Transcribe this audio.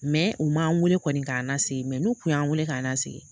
u m'an wele kɔni k'an nasigi n'u kun y'an weele k'an nasigi